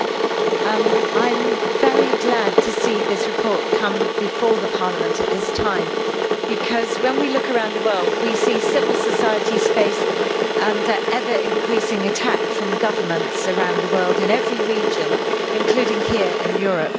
Madam President, I am very glad to see this report come before Parliament at this time because when we look around the world we see civil societies face ever increasing attacks from governments around the world in every region, including here in Europe.